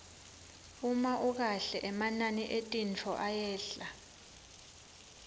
uma ukahle emanani etintfo ayehla